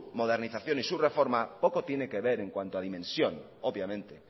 modernización y su reforma poco tiene que ver en cuanto a dimensión obviamente